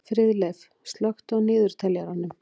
Friðleif, slökktu á niðurteljaranum.